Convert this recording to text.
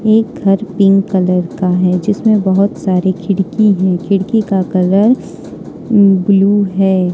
ये घर pink colour का है जिसमें बहोत सारे खिड़की है खिड़की का कलर ब्लू है।